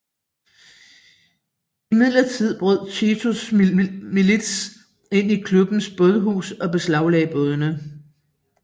Imidlertid brød Titos milits ind i klubbens bådehus og beslaglagde bådene